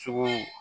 Cogo